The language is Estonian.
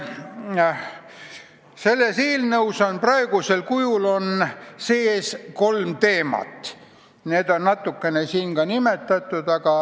Selles eelnõus on praegu kolm teemat.